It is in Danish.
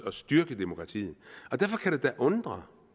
at styrke demokratiet og derfor kan jeg da undre